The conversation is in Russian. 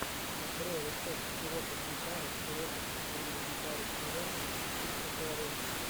открой рецепт уроков гитары уроков игры на гитаре с нуля стиксатворец